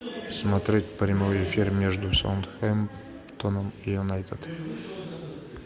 смотреть прямой эфир между саутгемптоном и юнайтед